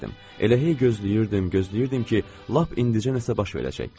Elə hey gözləyirdim, gözləyirdim ki, lap indicə nəsə baş verəcək.